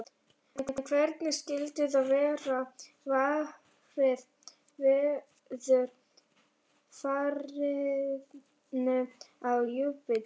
En hvernig skyldi þá vera varið veðurfarinu á Júpíter?